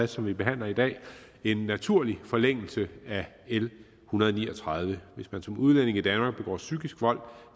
som vi behandler i dag en naturlig forlængelse af l en hundrede og ni og tredive hvis man som udlænding i danmark begår psykisk vold